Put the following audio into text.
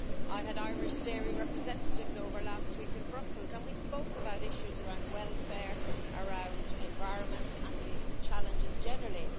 I had Irish dairy representatives over last week in Brussels and we spoke about issues around welfare and environment, and the challenges generally.